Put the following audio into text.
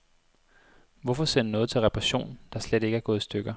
Hvorfor sende noget til reparation, der slet ikke er gået i stykker.